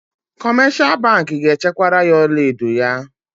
Kọmeshal bankị ga-echekwara ya ọlaedo ya.